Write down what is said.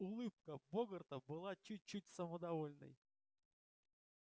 улыбка богарта была чуть-чуть самодовольной